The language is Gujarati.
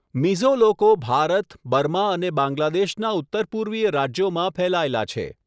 મિઝો લોકો ભારત, બર્મા અને બાંગ્લાદેશના ઉત્તરપૂર્વીય રાજ્યોમાં ફેલાયેલા છે.